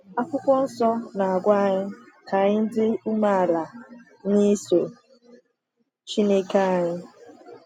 Akwụkwọ Nsọ na-agwa anyị ka anyị ‘dị umeala n’iso Chineke anyị.’